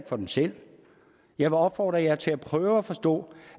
for dem selv jeg vil opfordre til at prøve at forstå